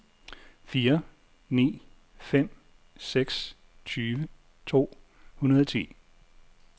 fire ni fem seks tyve to hundrede og ti